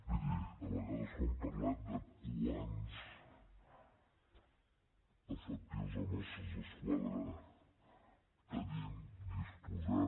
miri a vegades quan parlem de quants efectius de mossos d’esquadra tenim disposem